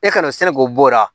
E kana se k'o bɔ o la